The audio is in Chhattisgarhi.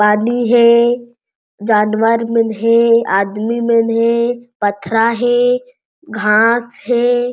पानी हे जानवर मन हे आदमी मन हे पथरा हे घास हे।